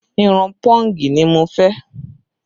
Irun pọ́ǹgì ni mo fẹ́